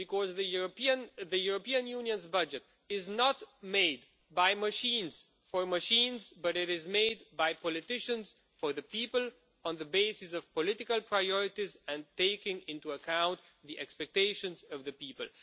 The European Union's budget is not made by machines for machines, but it is made by politicians for the people on the basis of political priorities and taking into account the expectations of the people.